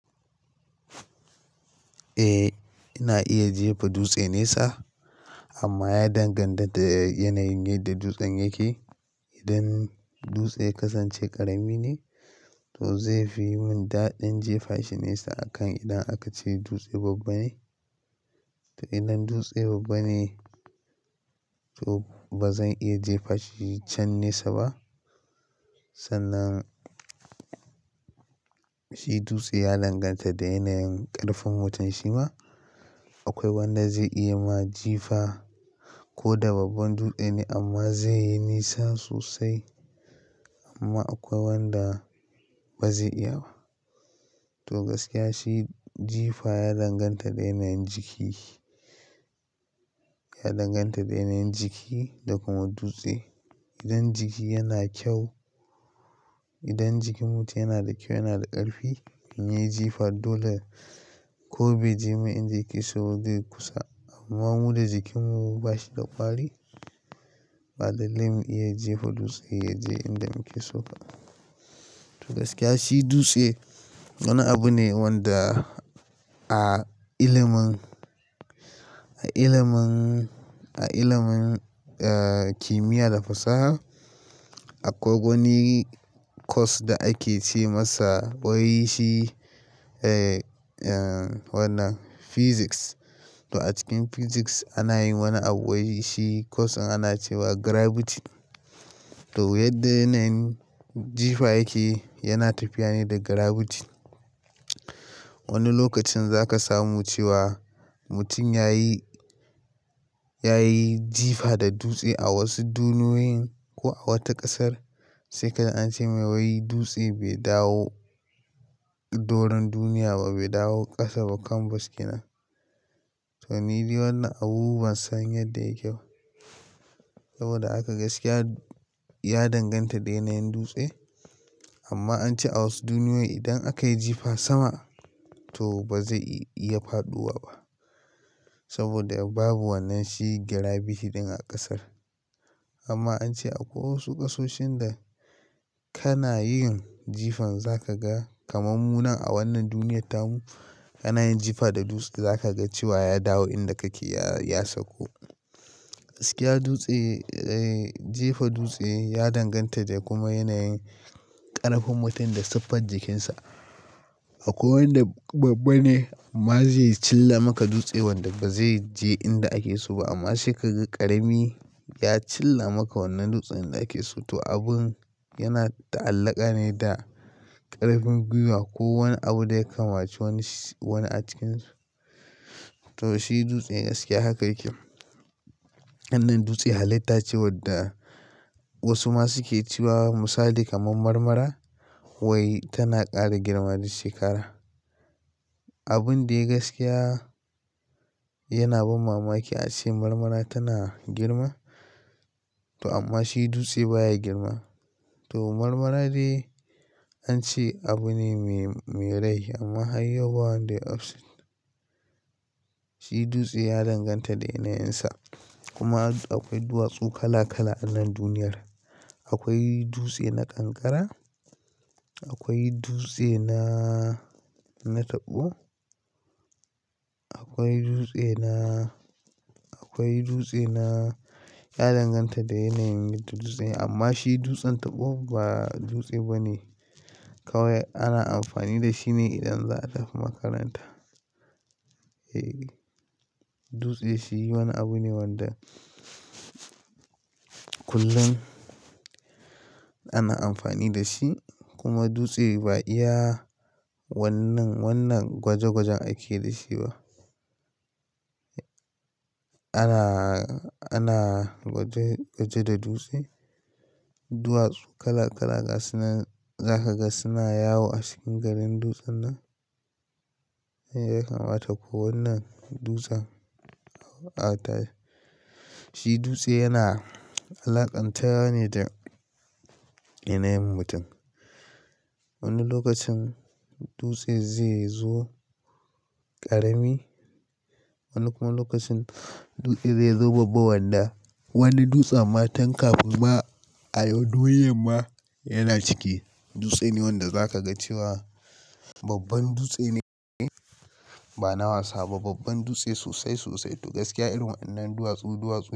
Ina iya jefa dutse nesa amma ya danganta da yanayin da dutsen yake. Idan dutsen kasance ƙarami ne, to zai fi mun daɗin jefa shi nesa akan idan aka ce dutse babba ne. To idan dutsen babba ne, to bazan iya jefa shi can nesa ba. Sannan, shi dutse ya danganta da yanayin ƙarfin mutum shima. Akwai wanda zai iya ma jifa ko da babban dutse ne amma zai yi nisa sosai amma akwai wanda ba zai iya ba. To gaskiya shi jifa ya danganta da yanayin jiki, ya danganta da yanayin jiki da kuma dutse. Idan jiki yana kyau, idan jikin mutum yana da kyau, yana da ƙarfi, me jifa dole ko bai je inda yake so da kusa. Amma muddin jikin mu bashi da ƙwari, ba dalilin iya jefa dutse ya je inda muke so ba. To gaskiya shi dutse wani abu ne wanda a ilimin, a ilimin, a ilimin, kimiyya da fasaha akwai wani course da a ke ce masa wai shi, wannan physics. To a cikin physics ana yin wani abu wai shi course ana ce wa gravity. To yadda yanayin jifa yake yana tafiya ne da gravity. Wani lokacin za ka samu cewa mutum yayi, yayi jifa da dutse a wasu duniyoyin ko a wata ƙasar. Sai kaza an ce mai wai dutse bai dawo doron duniya ba, bai dawo ƙasa ba kan baskina. To ni dai wannan abubuwan san yadda yake saboda haka gaskiya ya danganta da yanayin dutse. Amma an ce a wasu duniyoyi idan aka yi jifa sama, to ba zai iya faɗuwa ba saboda babu wannan shi gravity ɗin a ƙasar. Amma an ce akwai wasu ƙasoshin da kana yin jifan za ka ga kamar mu nan a wannan duniyyar tamun kana yin jifa da dutse za ka ga cewa ya dawo inda kake ya, ya sauko. Gaskiya dutse, jefa dutse ya danganta da kuma yanayin ƙarfin mutum da siffar jikinsa. Akwai wanda babba ne amma zai cilla maka dutse wanda ba zai je inda ake so ba. Amma sai kaga ƙarami ya cilla maka wannan dutsen inda ake so. To abun yana ta'allaka ne da ƙarfin gwiwa. Ko wani abu da ya kamaci wani, wani a cikinsu. To shi dutse gaskiya haka yake. Wannan dutse halitta ce wadda wasu ma su ke cewa misali kamar marmara wai tana ƙara girma da shekara. Abun da gaskiya yana ban mamaki a ce marmara tana girma to amma shi dutse baya girma. To marmara dai an ce abu ne me, me rai amma har yau ba wanda ya fahimci. Shi dutse ya danganta da yanayinsa. Kuma akwai duwatsu kala kala a wannan duniyar. Akwai dutse na kankara, akwai dutse na, na taɓo. Akwai dutse na, akwai dutse na ya danganta da yanayin dutsen amma shi dutsen taɓo ba dutse bane kawai ana amfani da shi ne idan za a tafi makaranta. Dutse shi wani abu ne wanda kullum ana amfani da shi kuma dutse bai iya wannan, wannan gwaje gwajen ake da shi ba. Ana, ana gwaje, gwaje da dutse. Duwatsu kala kala za ka ga suna yawo a cikin garin dutsen nan. Ya kamata ko wannan dutsen shi dutse yana alaƙantawa ne da yanayin mutum. Wani lokacin dutse zai zo ƙarami, wani kuma lokacin zai zo babba wanda wani dutse ma tanka ba ayo dole ma yana cike. Dutse ne wanda za ka ga cewa babban dutse ne, ba na wasa ba. Babban dutse sosai, sosai to gaskiya irin wannan duwatsu, duwatsu.